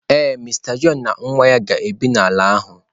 Ee, Mister John na nwa ga-ebi n'ala ahụ.